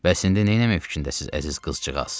Bəs indi nə etməyə fikrindəsiniz, əziz qızcığaz?